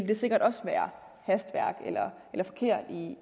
det sikkert også være hastværk eller forkert